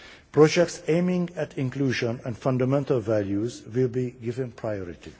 Projects aiming at inclusion and fundamental values will be given priority.